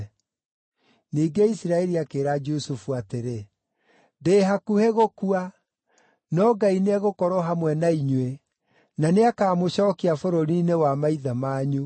Ningĩ Isiraeli akĩĩra Jusufu atĩrĩ, “Ndĩ hakuhĩ gũkua, no Ngai nĩegũkorwo hamwe na inyuĩ, na nĩakamũcookia bũrũri-inĩ wa maithe manyu.